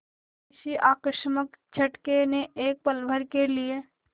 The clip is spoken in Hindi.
किसी आकस्मिक झटके ने एक पलभर के लिए